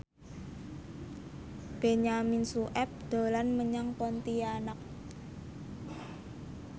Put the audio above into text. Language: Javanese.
Benyamin Sueb dolan menyang Pontianak